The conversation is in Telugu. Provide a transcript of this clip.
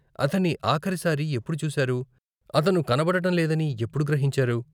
అతన్ని ఆఖరి సారి ఎప్పుడు చూసారు, అతను కనబడటం లేదని ఎప్పుడు గ్రహించారు ?